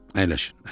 "Əyləşin, əyləşin."